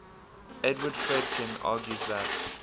edward fredkin argues that